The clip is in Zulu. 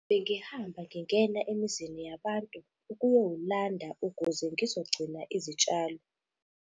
Bengihamba ngingena emizini yabantu ukuyowulanda ukuze ngizogcina izitshalo